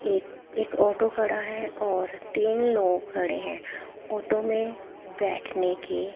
एक एक ऑटो खड़ा है और तीन लोग खड़े हैं ऑटो में बैठने के--